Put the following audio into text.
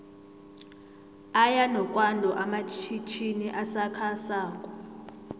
aya nokwando amatjhitjini asakha sako